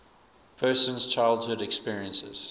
person's childhood experiences